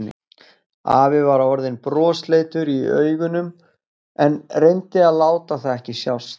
Afi var orðinn brosleitur í augunum en reyndi að láta það ekki sjást.